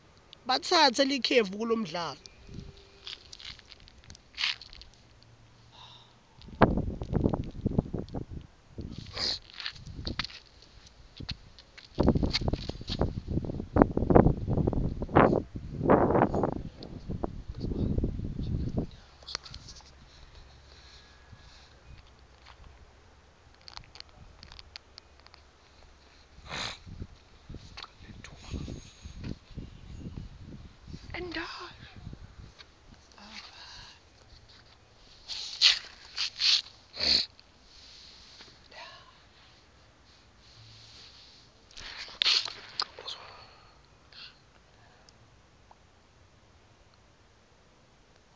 batsatse likefu kulomdlalo